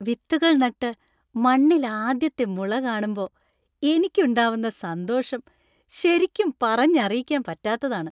വിത്തുകൾ നട്ട് മണ്ണില്‍ ആദ്യത്തെ മുള കാണുമ്പോ എനിക്കുണ്ടാവുന്ന സന്തോഷം ശരിക്കും പറഞ്ഞറിയിക്കാന്‍ പറ്റാത്തതാണ്.